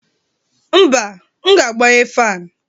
mba, m ga-agbanye fan